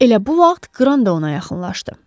Elə bu vaxt Qran da ona yaxınlaşdı.